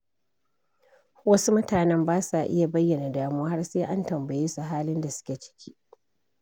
Wasu mutanen ba sa iya bayyana damuwa, har sai an tambaye su halin da suke ciki.